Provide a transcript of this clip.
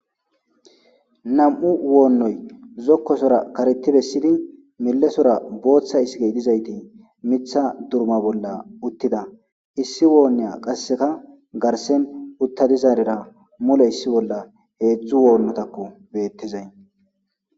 nam7u woonnoy zokkosora kareti bessidi milesora booththa iskey dizayti mitha durma bolla uttida issi woonniya qasseka garsen utta dizaarera mule issi bolla heedzdzu woonnotakko beettizay